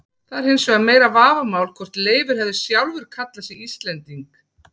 Það er hins vegar meira vafamál hvort Leifur hefði sjálfur kallað sig Íslending.